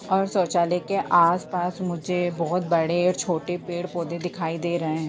और शौचालय के आसपास मुझे बहुत बड़े और छोटे पेड़- पौधे दिखाई दे रहे है।